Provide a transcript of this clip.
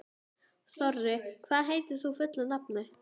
Þorri, hvað heitir þú fullu nafni?